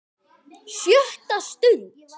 SJÖTTA STUND